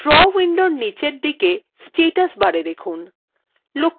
draw window নীচের দিকে status bar এ দেখুন